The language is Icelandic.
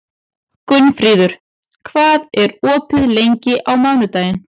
Gunnfríður, hvað er opið lengi á mánudaginn?